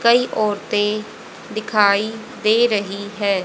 कई औरतें दिखाई दे रही है।